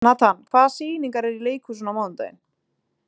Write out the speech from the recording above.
Natan, hvaða sýningar eru í leikhúsinu á mánudaginn?